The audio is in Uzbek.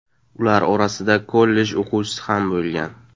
Ular orasida kollej o‘quvchisi ham bo‘lgan.